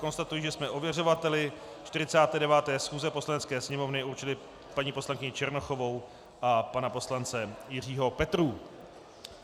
Konstatuji, že jsme ověřovateli 49. schůze Poslanecké sněmovny určili paní poslankyni Černochovou a pana poslance Jiřího Petrů.